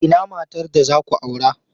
Ina matar da za ku aura?